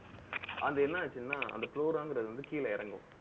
அது என்ன ஆச்சுன்னா அந்த ங்கிறது வந்து, கீழே இறங்கும்.